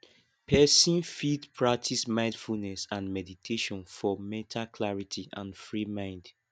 person fit practice mindfulness and meditation for mental clarity and free mind